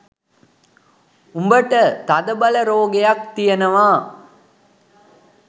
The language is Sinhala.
උඹට තදබල රෝගයක් තියෙනවා